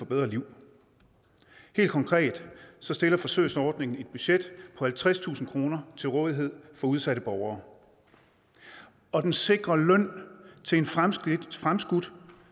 bedre liv helt konkret stiller forsøgsordningen et budget på halvtredstusind kroner til rådighed for udsatte borgere og den sikrer løn til en fremskudt fremskudt